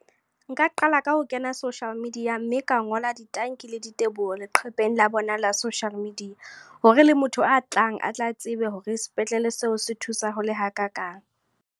Nka qala ka ho kena social media. Mme ka ngola ditanki le diteboho, leqhepeng la bona la social media. Hore le motho a tlang, atla tsebe hore sepetlele seo se thusa ho le hakakang.